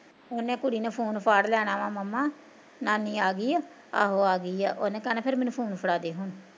ਉਹਨੇ ਕੁੜੀ ਨੇ phone ਫੜ ਲੈਣਾ ਵਾ ਮੰਮਾ ਨਾਨੀ ਆ ਗਈ ਆ, ਆਹੋ ਆ ਗਈ ਆ ਉਹਨੇ ਕਹਿਣਾ ਫਿਰ phone ਫੜਾ ਦੇ ਹੁਣ